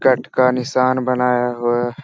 cut का निशान बनाया हुआ --